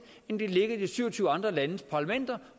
end at den ligger i de syv og tyve andre landes parlamenter